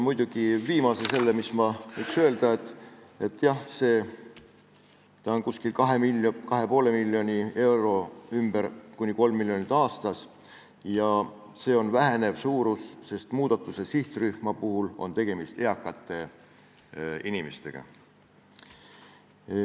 Muidugi, viimane, mis ma võiks öelda, on see, et see summa on 2,5 miljoni euro ümber, kuni 3 miljonit aastas, ja see on vähenev suurus, sest muudatuste sihtrühma kuuluvad eakad inimesed.